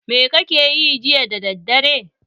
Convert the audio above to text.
Me kake yi jiya da daddare?